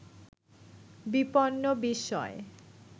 বিপন্ন বিস্ময়